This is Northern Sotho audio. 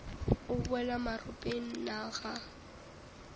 o boela maropeng na ga